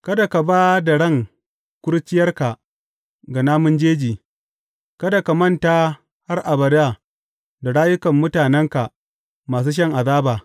Kada ka ba da ran kurciyarka ga namun jeji; kada ka manta har abada da rayukan mutanenka masu shan azaba.